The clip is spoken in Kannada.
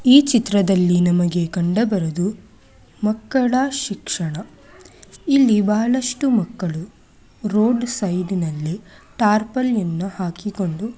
ಈ ಚಿತ್ರದಲ್ಲಿ ನಮಗೆ ಕಂಡುಬರುವುದು ಮಕ್ಕಳ ಶಿಕ್ಷಣ ಇಲ್ಲಿ ಬಹಳಷ್ಟು ಮಕ್ಕಳು ರೋಡ್ ಸೈಡ್ನಲ್ಲಿ ಟಾರ್ಪಲ್ ಯನ್ನು ಹಾಕಿಕೊಂಡು--